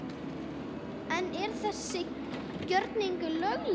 En er þessi gjörningur löglegur?